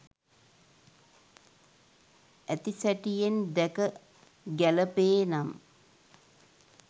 ඇති සැටියෙන් දැක ගැලපේ නම්